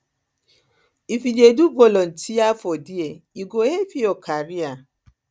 if you dey do volunteer for there e go help your career